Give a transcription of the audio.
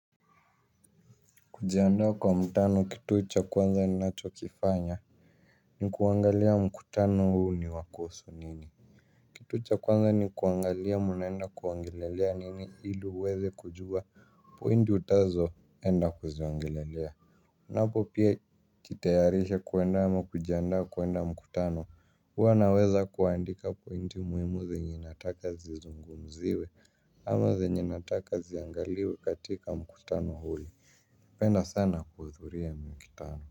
Kujiandaa kwa mkutano kitu cha kwanza ninachokifanya ni kuangalia mkutano huu ni a kuhusu nini. Kitu cha kwanza ni kuangalia mnaenda kuongelelea nini ili uweze kujua pointi utazoenda kuziongelelea. Napo pia kitayarisha kwenda ama kujiandaa kwenda mkutano huwa naweza kuandika pointi muhimu zenye nataka zizungumziwe ama zenye nataka ziangaliwe katika mkutano ule. Napenda sans kuhudhuria mikutano.